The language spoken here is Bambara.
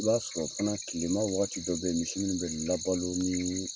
I b'a sɔrɔ fɛnɛ kilema waagati dɔ bɛ yen misiw bɛ labalo niin.